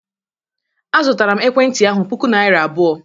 Azụtara m ekwentị ahụ puku naira abụọ.